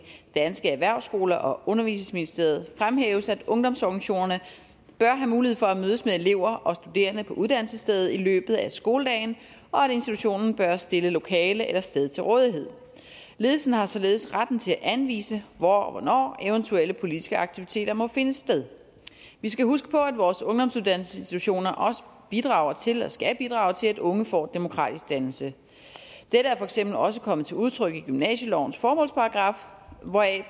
danske erhvervsskoler og undervisningsministeriet fremhæves at ungdomsorganisationerne bør have mulighed for at mødes med elever og studerende på uddannelsesstedet i løbet af skoledagen og at institutionen bør stille lokale eller sted til rådighed ledelsen har således retten til at anvise hvor og hvornår eventuelle politiske aktiviteter måde finde sted vi skal huske på at vores ungdomsuddannelsesinstitutioner også bidrager til og skal bidrage til at unge får en demokratisk dannelse dette er for eksempel også kommet til udtryk i gymnasielovens formålsparagraf hvoraf